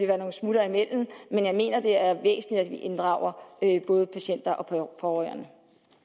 være nogle smuttere imellem men jeg mener det er væsentligt at vi inddrager både patienter og pårørende